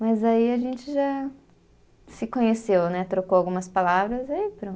Mas aí a gente já se conheceu, né, trocou algumas palavras aí pronto.